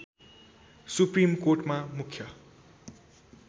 supreme कोर्टमा मुख्य